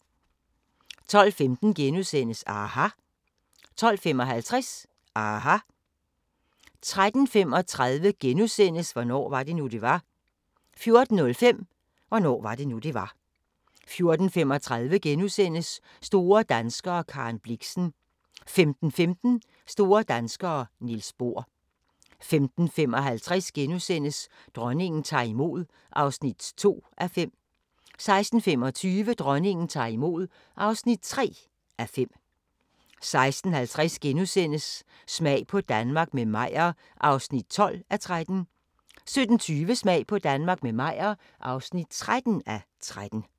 12:15: aHA! * 12:55: aHA! 13:35: Hvornår var det nu, det var? * 14:05: Hvornår var det nu, det var? 14:35: Store danskere - Karen Blixen * 15:15: Store danskere - Niels Bohr 15:55: Dronningen tager imod (2:5)* 16:25: Dronningen tager imod (3:5) 16:50: Smag på Danmark – med Meyer (12:13)* 17:20: Smag på Danmark – med Meyer (13:13)